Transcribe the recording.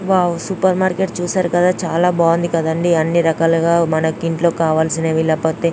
wow super market చూశారు కదా చాలా బాగుంది అన్ని రకాలుగా మనకి ఇంట్లో కావలసినవి లేకపోతే --